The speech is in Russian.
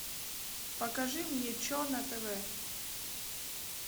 покажи мне че на тв